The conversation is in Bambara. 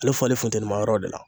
Ale bɛ falen funtɛnima yɔrɔ de la.